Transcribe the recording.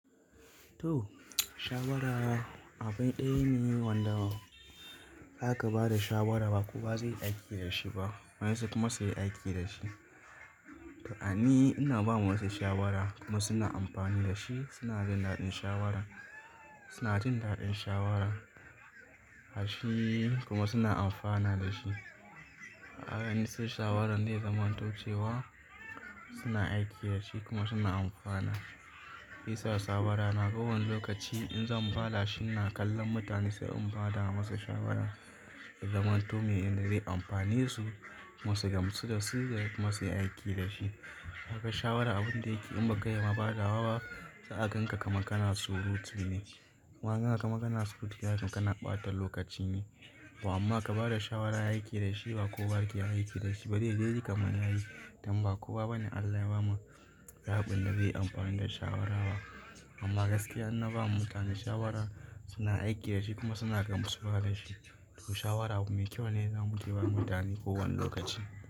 To, shawara abu ɗaya ne wanda zaka bada shawara ba kowa ba zai iya aiki da shi ba. Wasu kuma sai aiki da shi. To a ni ina ba wa wasu shawara kuma suna amfani da shi, suna jin daɗin shawaran, suna jin daɗin shawaran. Ƙarshe kuma suna amfana da shi. Kaga ni sai shawaran zai zamanto cewa suna aiki da shi kuma suna amfana. Shiyasa shawara na kowane lokaci in zan ba da shi na kallon mutane sai in ba da masa shawara. In zamanto me inda zai yi amfane su kuma su gamsu da su sai masa ya aiki da shi. Haka shawara abun da yake in ba ka yi ma ba da wa ba, sa'a kan ka kamar kana surutu ne. Kuma kana kamar kana surutu, za'ace kana ɓata lokaci ne. To amma ka ba da shawara, ayi aiki da shi ba kowa yake aiki da shi ba. To nidai kam inayi, dan ba kowa bane Allah ya ba ma yabi na zai yi amfani da shawara ba. Amma gaskiya ina ba mutane shawara suna aiki da shi kuma suna gamsuwa da shi. To shawara abu mai kyau ne wanda nake ba mutane kowane lokaci.